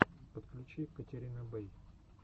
подключи катерина бэй